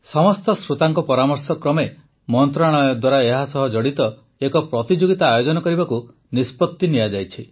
ସମସ୍ତ ଶ୍ରୋତାମାନଙ୍କ ପରାମର୍ଶ କ୍ରମେ ମନ୍ତ୍ରଣାଳୟ ଦ୍ୱାରା ଏହାସହ ଜଡ଼ିତ ଏକ ପ୍ରତିଯୋଗିତା ଆୟୋଜନ କରିବାକୁ ନିଷ୍ପତି ନିଆଯାଇଛି